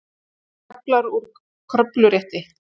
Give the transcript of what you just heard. Kaflar úr kröfurétti.